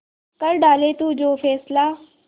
कर डाले तू जो फैसला